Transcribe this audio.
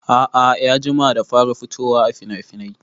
A'a ya jima da fara fitowaa finafinai